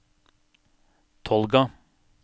Tolga